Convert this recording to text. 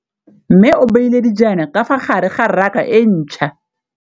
Mmê o beile dijana ka fa gare ga raka e ntšha.